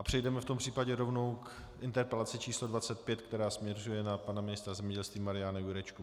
A přejdeme v tom případě rovnou k interpelaci číslo 25, která směřuje na pana ministra zemědělství Mariana Jurečku.